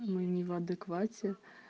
мы не в адеквате